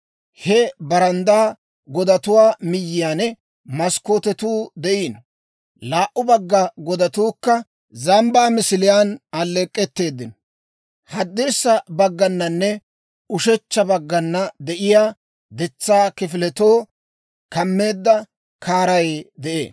He baranddaa godatuwaa miyyiyaan maskkootetuu de'iino. Laa"u bagga godatuukka zambbaa misiliyaan alleek'k'etteedino. Haddirssa baggananne ushechcha baggana de'iyaa detsaa kifiletoo kameedda kaaray de'ee.